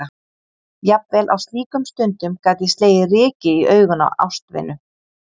Jafnvel á slíkum stundum gat ég slegið ryki í augun á ástvinu.